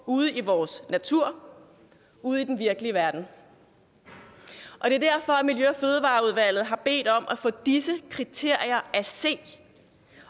ude i vores natur ude i den virkelige verden og det er derfor at miljø og fødevareudvalget har bedt om at få disse kriterier at se